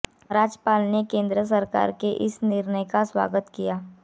राज्यपाल ने केंद्र सरकार के इस निर्णय का स्वागत किया है